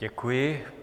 Děkuji.